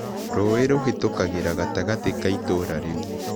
Rũũĩ rũhĩtũkagĩra gatagatĩ ka itũũra rĩu.